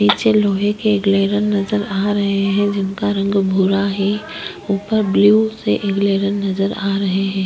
पीछे लोहै के किले नजर आ रहै हैं जिनका रंग भूरा है ऊपर ब्लू नजर आ रहै हैं।